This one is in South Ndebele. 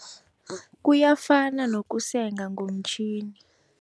Kuyafana nokusenga ngomtjhini.